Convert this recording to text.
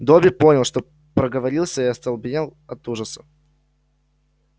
добби понял что проговорился и остолбенел от ужаса